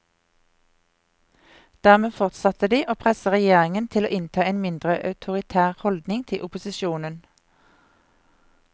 Dermed fortsatte de å presse regjeringen til å innta en mindre autoritær holdning til opposisjonen.